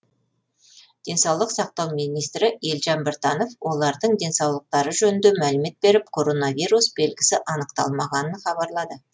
денсаулық сақтау министрі елжан біртанов олардың денсаулықтары жөнінде мәлімет беріп коронавирус белгісі анықталмағанын хабарлады